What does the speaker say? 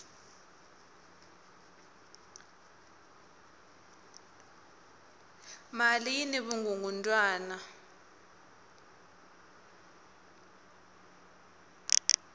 mali yini vukungundwani